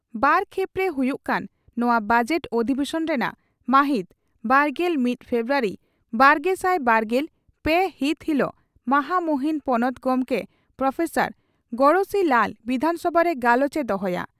ᱵᱟᱨ ᱠᱷᱮᱯᱨᱮ ᱦᱩᱭᱩᱜ ᱠᱟᱱ ᱱᱚᱣᱟ ᱵᱚᱡᱮᱴ ᱚᱫᱫᱤᱵᱮᱥᱚᱱ ᱨᱮᱱᱟᱜ ᱢᱟᱦᱤᱛ ᱵᱟᱨᱜᱮᱞ ᱢᱤᱛ ᱯᱷᱮᱵᱨᱩᱣᱟᱨᱤ ᱵᱟᱨᱜᱮᱥᱟᱭ ᱵᱟᱨᱜᱮᱞ ᱯᱮ ᱦᱤᱛ ᱦᱤᱞᱚᱜ ᱢᱟᱦᱟᱢᱩᱦᱤᱱ ᱯᱚᱱᱚᱛ ᱜᱚᱢᱠᱮ ᱯᱨᱹ ᱜᱚᱬᱮᱥᱤ ᱞᱟᱞ ᱵᱤᱫᱷᱟᱱᱥᱚᱵᱷᱟᱨᱮ ᱜᱟᱞᱚᱪ ᱮ ᱫᱚᱦᱚᱭᱟ ᱾